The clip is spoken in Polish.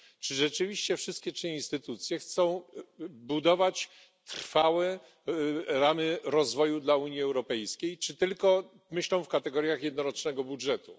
Czy rzeczywiście wszystkie trzy instytucje chcą budować trwałe ramy rozwoju dla Unii Europejskiej, czy tylko myślą w kategoriach jednorocznego budżetu.